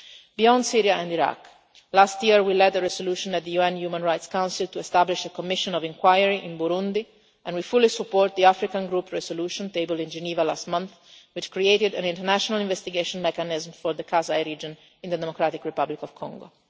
Beyond Syria and Iraq, last year we led the resolution at the UN Human Rights Council to establish a commission of inquiry in Burundi and we fully support the African group resolution tabled in Geneva last month, which created an international investigation mechanism for the Kasai region in the Democratic Republic of Congo.